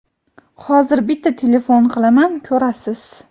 hozir bitta telefon qilaman, ko‘rasiz..